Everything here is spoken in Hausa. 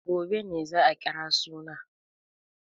Gobe ne za a kira suna.